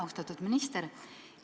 Austatud minister!